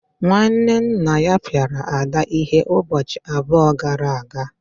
nwanne nna ya piara Ada ihe ụbọchị abụọ gara aga.